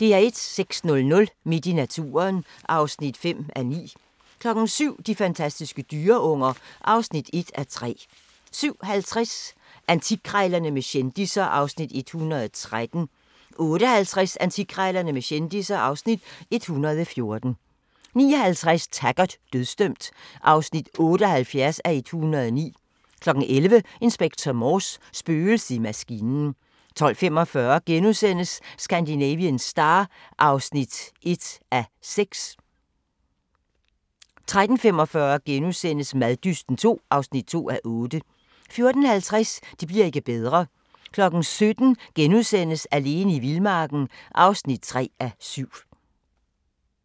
06:00: Midt i naturen (5:9) 07:00: De fantastiske dyreunger (1:3) 07:50: Antikkrejlerne med kendisser (Afs. 113) 08:50: Antikkrejlerne med kendisser (Afs. 114) 09:50: Taggart: Dødsdømt (78:109) 11:00: Inspector Morse: Spøgelset i maskinen 12:45: Scandinavian Star (1:6)* 13:45: Maddysten II (2:8)* 14:50: Det bli'r ikke bedre 17:00: Alene i vildmarken (3:7)*